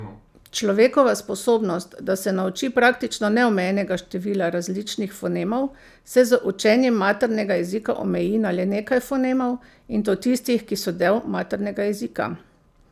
Človekova sposobnost, da se nauči praktično neomejenega števila različnih fonemov, se z učenjem maternega jezika omeji na le nekaj fonemov, in to tistih, ki so del maternega jezika.